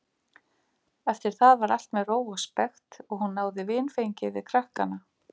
Eftir það var allt með ró og spekt og hún náði vinfengi við krakkana.